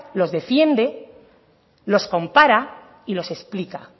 los defiende los compara y los explica